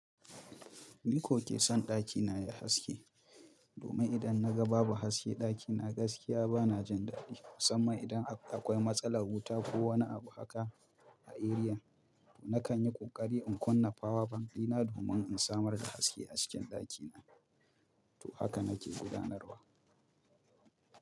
Ni ko ke son ɗakina yayi haske. Domin idan na ga babu haske ɗakina gaskiya bana jin daɗi. Musamman idan akwai matsalar wuta ko wani abu haka a eriyan. Nakan yi ƙoƙari in kunna fawa bank dina domin in samar da haske a cikin ɗaki na. To haka nake gudanarwa.